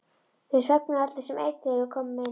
Þeir þögnuðu allir sem einn þegar við komum inn.